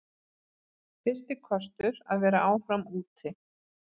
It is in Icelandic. Fyrsti kostur að vera áfram úti